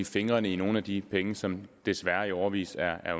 fingrene i nogle af de penge som desværre i årevis er